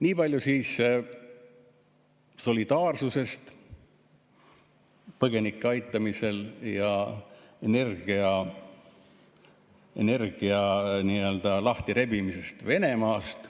Niipalju siis solidaarsusest põgenike aitamisel ja energeetika nii-öelda lahtirebimisest Venemaast.